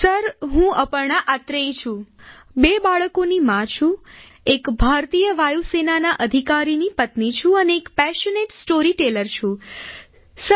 sir હું અપર્ણા અત્રેય છું બે બાળકોની માં છું એક ભારતીય વાયુસેનાના અધિકારીની પત્ની છું અને એક પેશનેટ સ્ટોરીટેલર છું સર